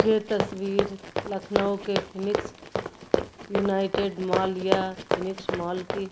ये तस्वीर लखनऊ के फिनिक्स यूनाइटेड मॉल या फिनिक्स मॉल की --